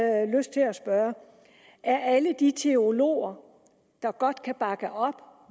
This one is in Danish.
spørge er alle de teologer der godt kan bakke op